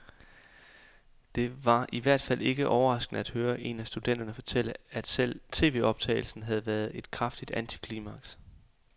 Det var i hvert fald ikke overraskende at høre en af studenterne fortælle, at selve tvoptagelsen havde været et kraftigt antiklimaks.